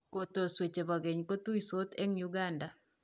Kotoswe che bo keny kotuisot eng Uganda.